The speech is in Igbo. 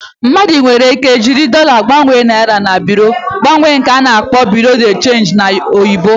Mmadu nwere ike ịji dollar gbanwere naira na Bịrụ mgbanwe nke ana-akpọ Bureau de change n'oyibo